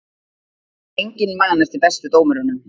Enginn man eftir bestu dómurunum